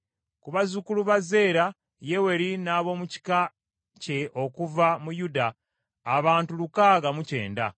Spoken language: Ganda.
Ku bazzukulu ba Zeera, Yeweri n’ab’omu kika kye okuva mu Yuda abantu lukaaga mu kyenda.